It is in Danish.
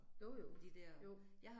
Jo jo, jo